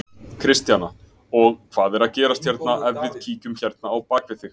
Kristjana: Og hvað er að gerast hérna, ef við kíkjum hérna á bak við þig?